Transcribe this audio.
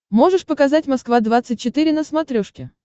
можешь показать москва двадцать четыре на смотрешке